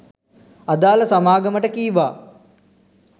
අදාළ සමාගමට කීවා